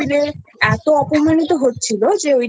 খাবার টেবিলে এতো অপমানিত হচ্ছিলো যে ওটার